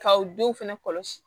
Kaw denw fɛnɛ kɔlɔsi